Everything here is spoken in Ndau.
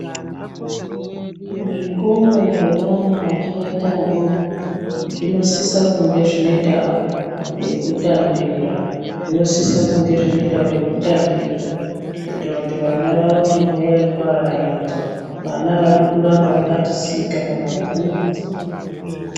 Muzvikora zvevana vachakaita vadoko zvinosise kunge zvine ndau yekutambira zvinosise kunge zvine ndau yekutambira kuitira kuti vana vaone nguwa yekuarairwa vana avadi kuramba vakati sika pamabhuku.